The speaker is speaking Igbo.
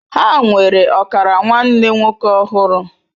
Ha nwere ọkara nwanne nwoke ọhụrụ.